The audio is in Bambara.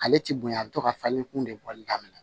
Ale ti bonya a bi to ka falen kun de bɔli daminɛ